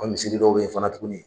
An misiri dɔw be ye fana tuguni